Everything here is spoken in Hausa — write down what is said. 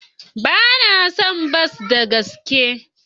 Ba na son bas da gaske.